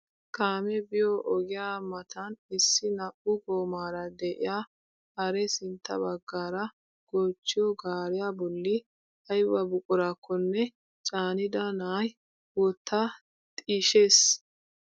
Kaamee biyoo ogiyaa matan issi naa"u goomaara de'iyaa haree sintta baggaara goochchiyoo gaariyaa bolli ayba buqurakonne caanida na'ay wottaa xishshees!